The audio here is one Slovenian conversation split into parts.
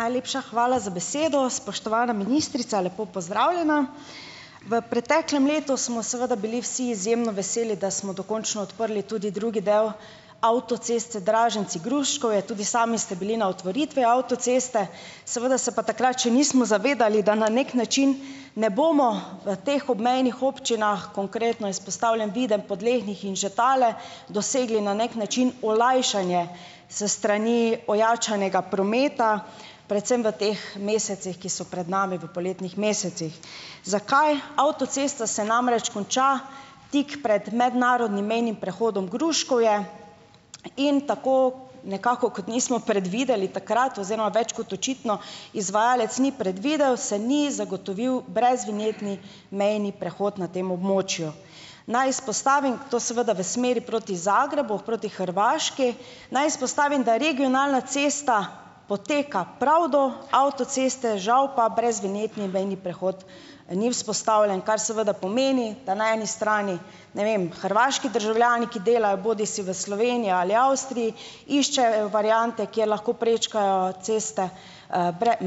Najlepša hvala za besedo. Spoštovana ministrica, lepo pozdravljena. V preteklem letu smo seveda bili vsi izjemno veseli, da smo dokončno odprli tudi drugi del avtoceste Draženci-Gruškovje. Tudi sami ste bili na otvoritvi avtoceste. Seveda se pa takrat še nismo zavedali, da na neki način ne bomo v teh obmejnih občinah, konkretno izpostavljen Videm, Podlehnik in Žetale, dosegli na neki način olajšanje s strani ojačanega prometa, predvsem v teh mesecih, ki so pred nami, v poletnih mesecih. Zakaj, avtocesta se namreč konča tik pred mednarodnim mejnim prehodom Gruškovje in tako nekako kot nismo predvideli takrat oziroma več kot očitno izvajalec ni predvidel, se ni zagotovil brezvinjetni mejni prehod na tem območju. Naj izpostavim, to seveda v smeri proti Zagrebu, proti Hrvaški. Naj izpostavim, da regionalna cesta poteka pravi do avtoceste, žal pa brezvinjetni mejni prehod ni vzpostavljen, kar seveda pomeni, da na eni strani, ne vem, hrvaški državljani, ki delajo bodisi v Sloveniji ali Avstriji, iščejo variante, kjer lahko prečkajo ceste,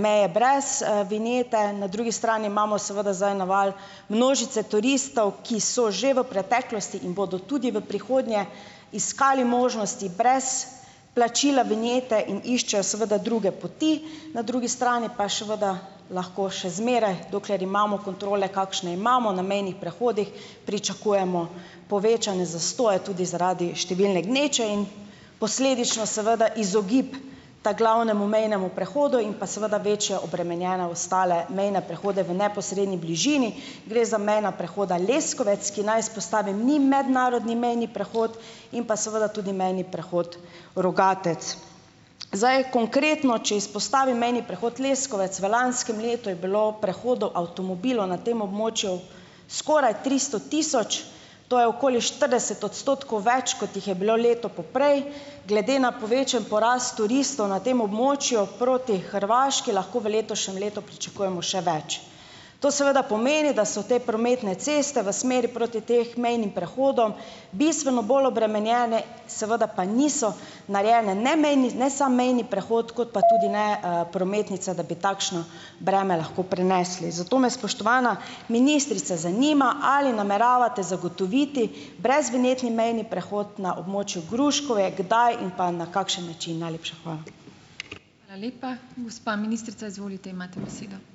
meje brez, vinjete, na drugi strani imamo seveda zdaj naval množice turistov, ki so že v preteklosti in bodo tudi v prihodnje iskali možnosti brez plačila vinjete in iščejo seveda druge poti, na drugi strani pa je seveda lahko še zmeraj, dokler imamo kontrole, kakšne imamo na mejnih prehodih, pričakujemo povečane zastoje, tudi zaradi številne gneče in posledično seveda izogib ta glavnemu mejnemu prehodu in pa seveda večje obremenjene ostale mene prehodi v neposredni bližini. Gre za mejna prehoda Leskovec, ki naj izpostavim, ni mednarodni mejni prehod in pa seveda tudi mejni prehod Rogatec. Zdaj, konkretno, če izpostavim mejni prehod Leskovec. V lanskem letu je bilo prehodov avtomobilov na tem območju skoraj tristo tisoč, to je okoli štirideset odstotkov več, kot jih je bilo leto poprej, glede na povečan porast turistov na tem območju proti Hrvaški lahko v letošnjem letu pričakujemo še več. To seveda pomeni, da so te prometne ceste v smeri proti tem mejnim prehodom bistveno bolj obremenjene, seveda pa niso narejene ne mejni, ne samo mejni prehod kot pa tudi ne, prometnica, da bi takšno breme lahko prenesli. Zato me, spoštovana ministrica, zanima, ali nameravate zagotoviti brezvinjetni mejni prehod na območju Gruškovje? Kdaj in pa na kakšen način? Najlepša hvala. Hvala lepa. Gospa ministrica, izvolite, imate besedo.